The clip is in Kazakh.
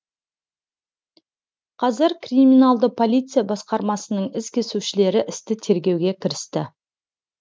қазір криминалды полиция басқармасының із кесушілері істі тергеуге кірісті